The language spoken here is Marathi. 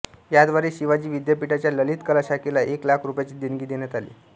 याद्वारे शिवाजी विद्यापीठाच्या ललित कला शाखेला एक लाख रुपयांची देणगी देण्यात आली